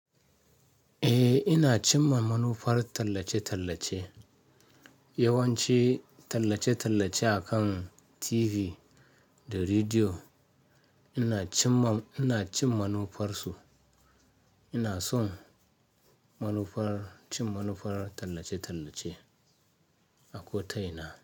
Eh, ina cinma manufar tallace-tallace. Yawanci tallace-tallace akan TV da rediyo ina cin ma-- ina cin manufarsu. Ina son manufar cin manufar tallace-tallace a kota ina.